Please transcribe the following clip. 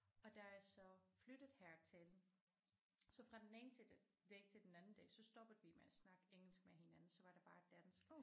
Og da jeg så flyttede hertil så fra den ene til den dag til den anden dag så stoppede vi med at snakke engelsk med hinanden så var det bare dansk